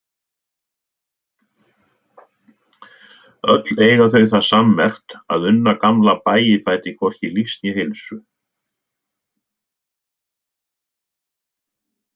Öll eiga þau það sammerkt að unna gamla Bægifæti hvorki lífs né heilsu.